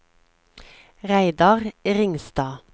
Reidar Ringstad